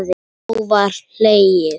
Þá var hlegið.